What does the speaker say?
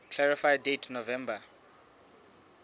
clarify date november